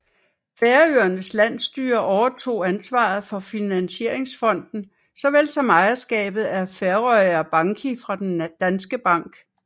Færøernes Landsstyre overtog ansvaret for Finansieringsfonden såvel som ejerskabet af Føroya Banki fra Den Danske Bank